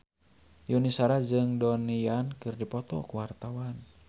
Yuni Shara jeung Donnie Yan keur dipoto ku wartawan